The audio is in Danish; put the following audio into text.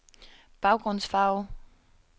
baggrundsfarve